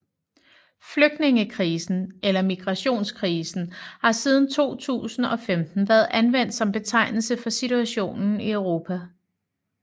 Flygtningekrisen eller migrationskrisen har siden 2015 været anvendt som betegnelse for situationen i Europa